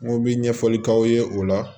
N ko bi ɲɛfɔli k'aw ye o la